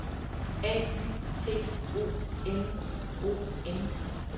A U T O N O M